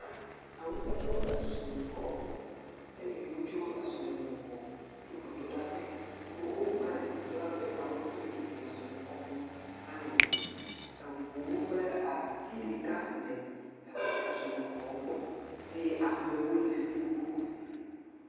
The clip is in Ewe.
Awusatɔwo be sɔlixɔ gbɔ eye wotso esɔlime gbɔ, tso gbedoɖaƒe, wokpa le gbedoɖaƒe ta wo katã wo ƒete le dodom le sɔlixɔ me va le yiyim, eŋuwo kple ati ɖeka le eŋu sɔlixɔ gbɔ, eye amewo le fi mi gbogbogbo.